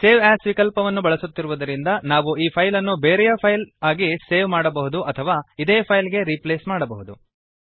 save as ವಿಕಲ್ಪವನ್ನು ಬಳಸುತ್ತಿರುವದರಿಂದ ನಾವು ಈ ಫೈಲ್ ಅನ್ನು ಬೇರೆಯ ಫೈಲ್ ಆಗಿ ಸೇವ್ ಮಾಡಬಹುದು ಅಥವಾ ಇದೇ ಫೈಲ್ ಗೆ ರೀಪ್ಲೇಸ್ ಮಾಡಬಹುದು